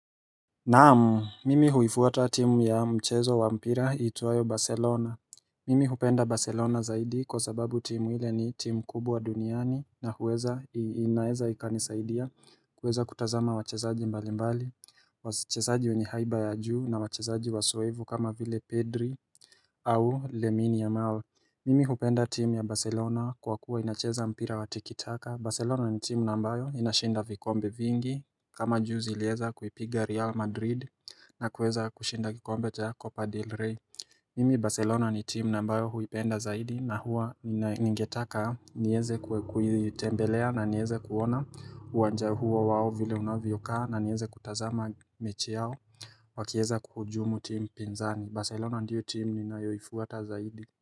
Naam, mimi huifuata timu ya mchezo wa mpira iitwayo Barcelona Mimi hupenda Barcelona zaidi kwa sababu timu ile ni timu kubwa duniani na huweza inaeza ikanisaidia kuweza kutazama wachezaji mbali mbali Wachesaji mwenye haiba ya juu na wachesaji wasoevu kama vile Pedri au Lemini yamal. Mimi hupenda timu ya Barcelona kwa kuwa inacheza mpira wa tikitaka. Barcelona ni timu na ambayo inashinda vikombe vingi kama juzi ilieza kupiga Real Madrid na kuweza kushinda kikombe ta Copa del Rey Mimi Barcelona ni timu na mbayo huipenda zaidi na huwa ninaingetaka nieze kuitembelea na nieze kuona uwanja huo wao vile unavyokaa na nieze kutazama mechi yao wakieza kuhujumu timu pinzani Barcelona ndiyo timu ninayoifuata zaidi.